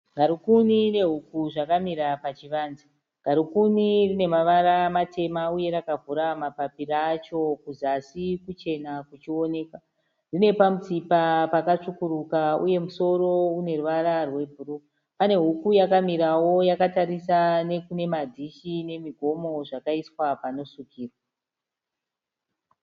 Garukuni nehuku zvakamira pachivanze. Garukuni rine mavara matema uye rakavhura mapapiro acho kuzasi kuchena kuchioneka. Rine pamutsipa pakatsvukuruka uye musoro une ruvara rwebhuruu. Pane huku yakamirawo yakatarisa nekune madhishi nemigomo zvakaiswa panosvikirwa.